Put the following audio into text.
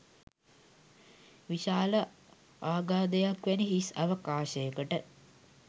විශාල අගාධයක් වැනි හිස් අවකාශයකට